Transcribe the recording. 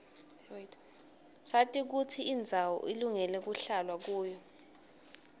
sati kutsi indzawo ilungele kuhlalwa kuyo